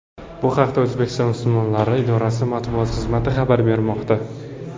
Bu haqda O‘zbekiston musulmonlari idorasi matbuot xizmati xabar bermoqda .